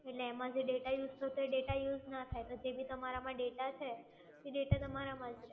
એટલે એમાં જે data use થતો હોય તે data use ના થાય પછી જે બી તમારા માં data છે એ data તમારામાં જ રે